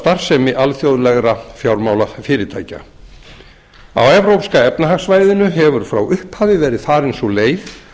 starfsemi alþjóðlegra fjármálafyrirtækja á evrópska efnahagssvæðinu hefur frá upphafi verið farin sú leið